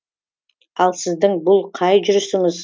ал сіздің бұл қай жүрісіңіз